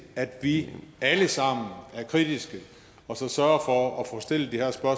at vi alle sammen er kritiske og så sørger for at få stillet